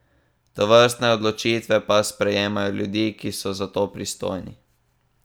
Tovrstne odločitve pa sprejemajo ljudi, ki so za to pristojni.